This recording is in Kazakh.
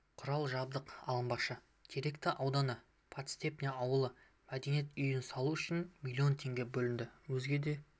құрал-жабдық алынбақшы теректі ауданы подстепный ауылында мәдениет үйін салу үшін млн теңге бөлінді өзге де